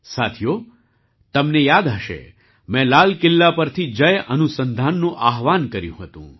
સાથીઓ તમને યાદ હશે મેં લાલ કિલ્લા પરથી જય અનુસંધાનનું આહ્વાન કર્યું હતું